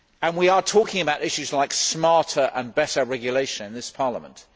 We are talking about issues like smarter and better regulation in this Parliament.